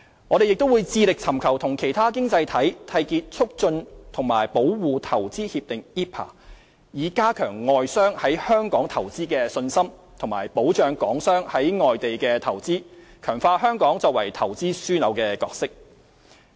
我們亦致力尋求與其他經濟體締結促進和保護投資協定，以加強外商在香港投資的信心，以及保障港商在外地的投資，強化香港作為投資樞紐的角色。